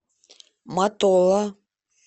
матола